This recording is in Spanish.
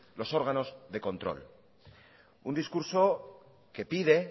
los órganos de control un discurso que pide